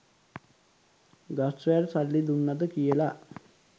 ගස් වැල් සල්ලි දුන්නද කියලා.